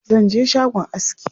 Zan je shagon aski.